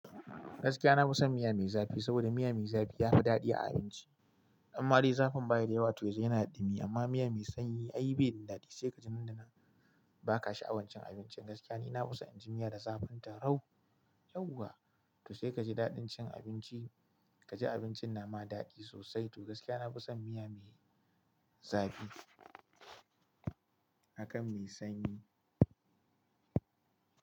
Gaskiya na fi son miya mai zafi, saboda miya mai zafi yafi daɗi a abinci. Amma dai zafin baya da yawa toh yazan yana da ɗumi amma miya mai sanyi ai bai da daɗi. Sai ka ji nan da nan baka sha'awan cin abincin. Gaskiya ni nafi son inji miya da zafin ta rau yauwa toh sai ka ji daɗin cin abinci. Kaji abincin nama daɗi sosai toh gaskiya nafi son miya mai zafi akan mai sanyi.